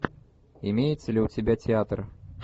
имеется ли у тебя театр